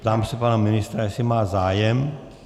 Ptám se pana ministra, jestli má zájem.